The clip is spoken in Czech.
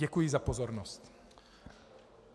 Děkuji za pozornost.